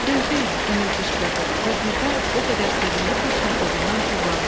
Gözləyin, Emil qışqırdı və birdən o qədər sevindi ki, şadlığından tullandı.